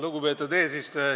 Lugupeetud eesistuja!